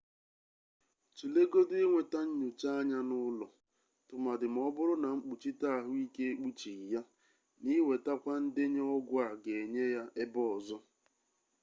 tulegodu inweta nyocha anya n'ụlọ tụmadị ma ọ bụrụ na mkpuchite ahụike ekpuchighị ya na iwetakwa ndenye ọgwụ a ga-enye ya ebe ọzọ